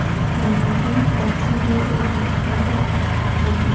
Shundan so‘ng hodisa joyiga evakuator chaqirtirilgan.